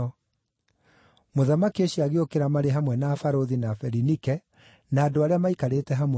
Mũthamaki ũcio agĩũkĩra marĩ hamwe na barũthi, na Berinike, na andũ arĩa maikarĩte hamwe nao.